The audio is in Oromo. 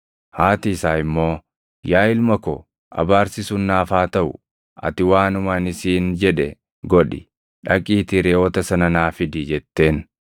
Haati isaa immoo, “Yaa ilma ko, abaarsi sun naaf haa taʼu; ati waanuma ani siin jedhe godhi; dhaqiitii reʼoota sana naa fidi” jetteen.